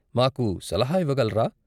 మాకు సలహా ఇవ్వగలరా?